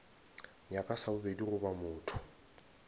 nyaka sa bobedi goba motho